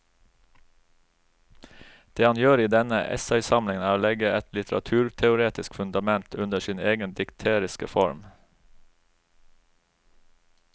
Det han gjør i denne essaysamlingen er å legge et litteraturteoretisk fundament under sin egen dikteriske form.